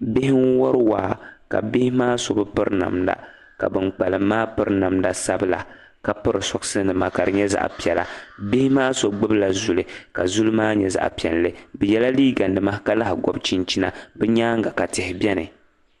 bihi n wari waa ka bihi maa so bɛ piri namda ka bankpalim maa piri namda sabla ka piri soksi nima ka di nyɛ zaɣa piɛla bihi maa so gbibila zuli ka zuli maa nyɛ zaɣa piɛlli bɛ yela liiga nima ka lahi gɔbi chinchina bɛ nyaaŋa ka tihi beni